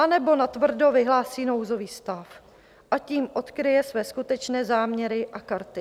Anebo natvrdo vyhlásí nouzový stav, a tím odkryje své skutečné záměry a karty.